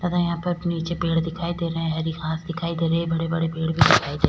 तथा यहाँ पर नीचे पेड़ दिखाई दे रहे है हरी घास दिखाई दे रही है हरे भरे पेड़ भी दिखाई --